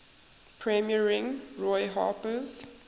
premiering roy harper's